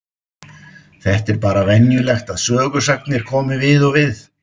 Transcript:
Þetta er bara venjulegt að sögusagnir komi við og við.